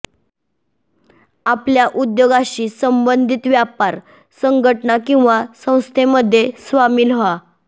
आपल्या उद्योगाशी संबंधित व्यापार संघटना किंवा संस्थेमध्ये सामील व्हा